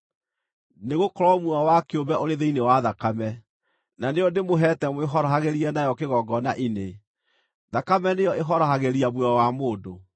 Nĩgũkorwo muoyo wa kĩũmbe ũrĩ thĩinĩ wa thakame, na nĩyo ndĩmũheete mwĩhorohagĩrie nayo kĩgongona-inĩ; thakame nĩyo ĩhorohagĩria muoyo wa mũndũ.